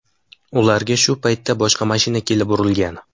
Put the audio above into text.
Ularga shu paytda boshqa mashina kelib urilgan.